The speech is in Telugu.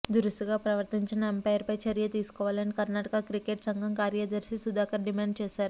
దురుసుగా ప్రవర్తించిన అంపైర్పై చర్య తీసుకోవాలని కర్ణాటక క్రికెట్ సంఘం కార్యదర్శి సుధాకర్ డిమాండ్ చేశారు